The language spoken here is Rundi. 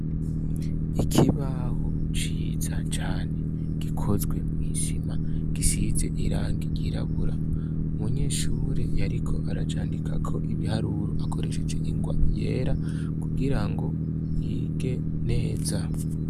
Ikibaho ciza cane gikozwe mw'isima gisize irangi ryirabura. Umunyeshure yariko aracandikako ibiharuro akoresheje ingwa yera kugirango yige neza.